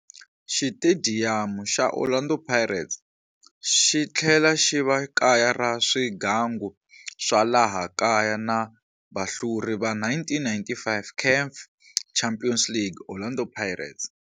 Xitediyamu xa Orlando xitlhela xiva kaya ra swigangu swa laha kaya na vahluri va 1995 CAF Champions League Orlando Pirates,